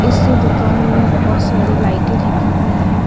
इसी दुकान में बहुत सारी लाइटें लगी हुई है।